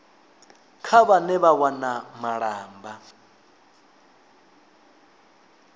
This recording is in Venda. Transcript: kha vhane vha wana malamba